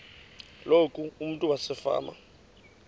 loku umntu wasefama